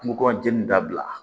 Kungo kɔnɔ jeni dabila